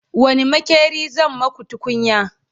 wani maƙeri zai maku tukunya?